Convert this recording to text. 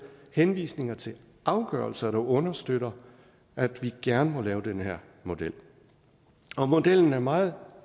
henvisninger til afgørelser der understøtter at vi gerne må lave den her model modellen er meget